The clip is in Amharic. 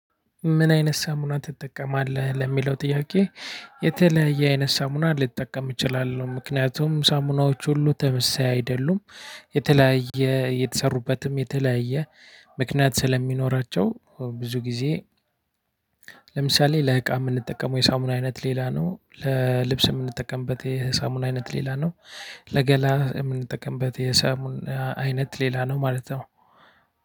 ምን አይነት ሳሙና ትጠቀማለህ ለሚለው ጥያቄ? የተለያየ አይነት ሳሙና ልትጠቀም እችላለሁ ምክንያቱም ሳሙናዎች ሁሉ ተመሳሳይ አይደሉም የተለያየ የተሰሩበትም የተለያየ ምክንያት ስለሚኖራቸው ብዙ ጊዜ። ለምሳሌ ለእቃ የምንጠቀመው የሳሙና አይነት ሌላ ነው ለልብስ የምንጠቀምበት የሳሙና አይነት ሌላ ነው። ለገላ የምንጠቀምበት የሳሙና አይነት ሌላ ነው ማለት ነው።